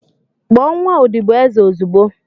Kpọọ nwa odibo eze ozugbo!